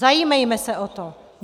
Zajímejme se o to.